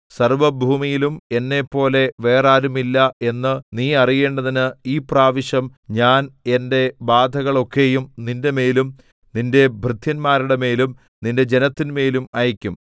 സർവ്വഭൂമിയിലും എന്നെപ്പോലെ വേറാരുമില്ല എന്ന് നീ അറിയേണ്ടതിന് ഈ പ്രാവശ്യം ഞാൻ എന്റെ ബാധകളൊക്കെയും നിന്റെമേലും നിന്റെ ഭൃത്യന്മാരുടെമേലും നിന്റെ ജനത്തിന്മേലും അയയ്ക്കും